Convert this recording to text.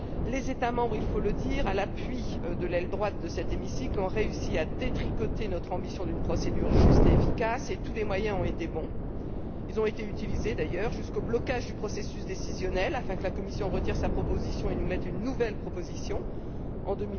Les États membres il faut le dire à l'appui de l'aile droite de cet hémicycle, ont réussi à détricoter notre ambition d'établir une procédure juste et efficace et tous les moyens ont été bons à cette fin. Ils ont d'ailleurs été utilisés jusqu'au blocage du processus décisionnel afin que la Commission retire sa proposition et fasse une nouvelle proposition en